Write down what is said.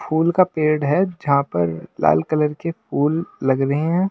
फूल का पेड़ है जहां पर लाल कलर के फूल लग रहे हैं।